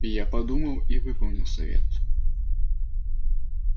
я подумал и выполнил совет